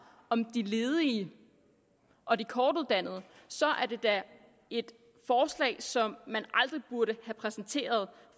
om de ledige og de kortuddannede så er det da et forslag som man aldrig burde have præsenteret